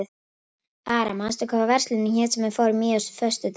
Ara, manstu hvað verslunin hét sem við fórum í á föstudaginn?